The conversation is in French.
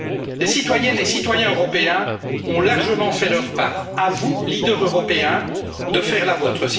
européenne. Les citoyennes et citoyens européens ont largement fait leur part. À vous, leaders européens, de